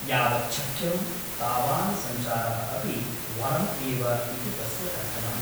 यावच्छक्यं तावान् सञ्चारः अपि वरम् एव इति तस्य कथनम् ।